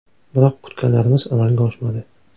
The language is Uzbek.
Biroq kutganlarimiz amalga oshmadi.